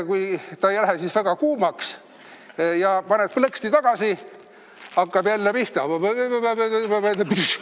Kui ta ei lähe väga kuumaks, paned plõksti tagasi, hakkab jälle pihta: ba-ba-ba-ba-ba-brššš!